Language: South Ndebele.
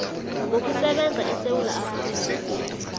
ngokusebenza esewula afrika